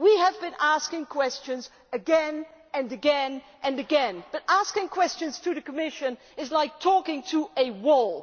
We have been asking questions again, again and again, but asking questions to the Commission is like talking to a wall.